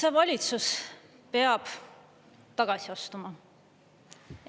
See valitsus peab tagasi astuma.